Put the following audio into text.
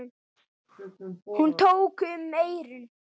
Hún tók um eyrun.